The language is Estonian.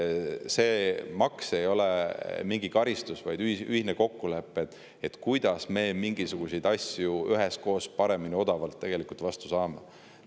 See maks ei ole mingi karistus, vaid ühine kokkulepe, kuidas me mingisuguseid asju üheskoos paremini ja odavamalt teha saame.